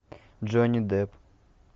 джонни депп